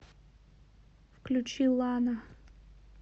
включи лана